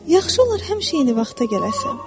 Yaxşı olar həmişə eyni vaxta gələsən.